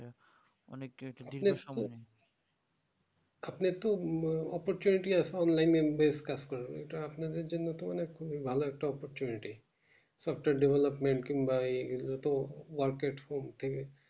আপনি একটু opportunity আছে online membranes কাজ করার ইটা আপনারদের জন্য তো অনেক ভালো একটা opportunity doctor developmet কিংবা এ এগুলোতো work at home থেকে